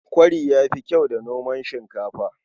Kwari ya fi kyau da noman shinkafa.